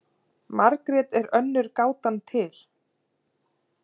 Margrét er önnur gátan til.